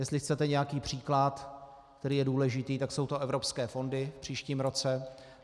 Jestli chcete nějaký příklad, který je důležitý, tak jsou to evropské fondy v příštím roce.